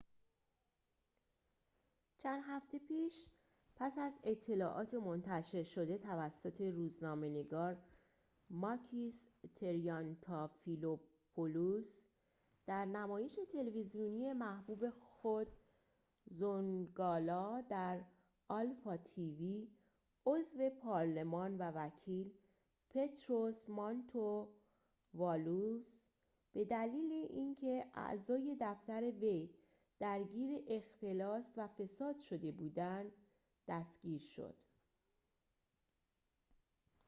چند هفته پیش پس از اطلاعات منتشر شده توسط روزنامه نگار ماکیس تریانتافیلوپولوس در نمایش تلویزیونی محبوب خود زونگالا در آلفا تی وی عضو پارلمان و وکیل پطروس مانتووالوس به دلیل اینکه اعضای دفتر وی درگیر اختلاس و فساد شده بودند دستگیر شد